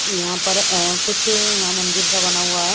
यहाँ पर अ कुछ यहाँ मंदिर सा बना हुआ है।